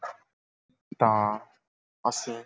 ਤਾਂ ਅਸੀਂ